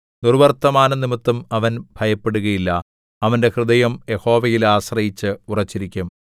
ദുർവ്വർത്തമാനംനിമിത്തം അവൻ ഭയപ്പെടുകയില്ല അവന്റെ ഹൃദയം യഹോവയിൽ ആശ്രയിച്ച് ഉറച്ചിരിക്കും